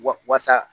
Wasa